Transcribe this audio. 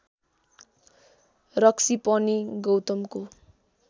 रक्सी पनि गौतमको